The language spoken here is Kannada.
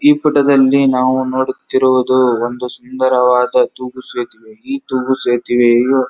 ಈ ಫೋಟೋ ದಲ್ಲಿ ನಾವು ನೋಡುತ್ತಿರುವುದು ಒಂದು ಸುಂದರವಾದ ತೂಗು ಸೇತುವೆ ಈ ತೂಗು ಸೇತುವೆಯು --